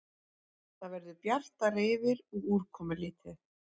Það verður bjartara yfir og úrkomulítið